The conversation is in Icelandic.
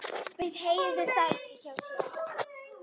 Bauð Heiðu sæti hjá mér.